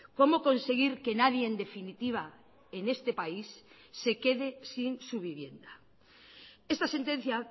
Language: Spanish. cómo conseguir que nadie en definitiva en este país se quede sin su vivienda esta sentencia